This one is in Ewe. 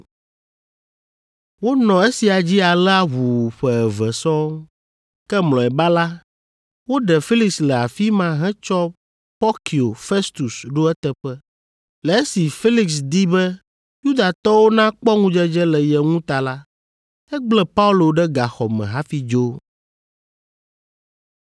Wonɔ esia dzi alea ʋuu ƒe eve sɔŋ. Ke mlɔeba la, woɖe Felix le afi ma hetsɔ Porkio Festus ɖo eteƒe. Le esi Felix di be Yudatɔwo nakpɔ ŋudzedze le ye ŋu ta la, egblẽ Paulo ɖe gaxɔ me hafi dzo.